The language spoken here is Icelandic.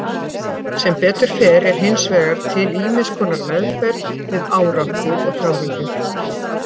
Sem betur fer er hins vegar til ýmiss konar meðferð við áráttu og þráhyggju.